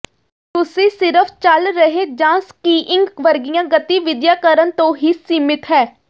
ਤੁਸੀਂ ਸਿਰਫ਼ ਚੱਲ ਰਹੇ ਜਾਂ ਸਕੀਇੰਗ ਵਰਗੀਆਂ ਗਤੀਵਿਧੀਆਂ ਕਰਨ ਤੋਂ ਹੀ ਸੀਮਿਤ ਹੈ